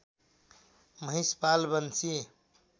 Mahishpal Banshi